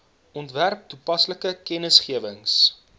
ontwerp toepaslike kennisgewings